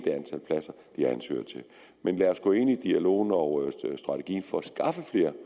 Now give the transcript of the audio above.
det har ansøgere til men lad os gå ind i dialogen og strategien for